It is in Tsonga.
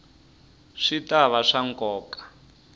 swi ta va swa nkoka